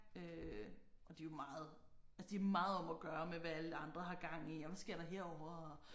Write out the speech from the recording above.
Øh og de jo meget altså de meget om at gøre med hvad alle andre har gang i og hvad sker der herovre og